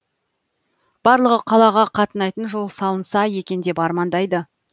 барлығы қалаға қатынайтын жол салынса екен деп армандайды